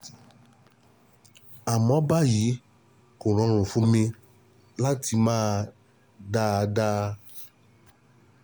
Àmọ́ ní báyìí, kò rọrùn fún mi láti mí dáadáa